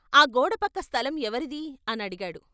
ఆ గోడపక్క స్థలం ఎవరిదీ అని అడిగాడు?